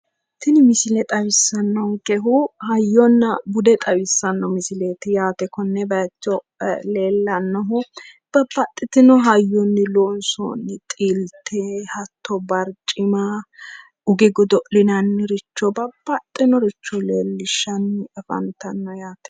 Tini misile xawisssannonkehu hayyonna bude xawisanno misileeti yaate konne bayiicho leellannohu babbaxxitino hayyonni loonsoni xilte hatto barcima uge godo'linanniricho babbaxxinoricho leellishshanni fantanno yaate.